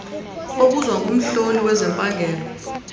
obuzwa ngumhloli wezempangelo